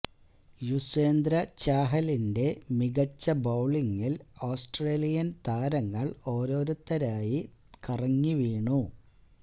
യുസ്വേന്ദ്ര ചാഹലിന്റെ മികച്ച ബൌളിങില് ആസ്ത്രേലിയന് താരങ്ങള് ഓരോരുത്തരായി കറങ്ങി വീണു